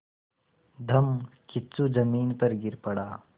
धम्मकिच्चू ज़मीन पर गिर पड़ा